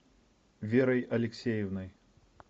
верой алексеевной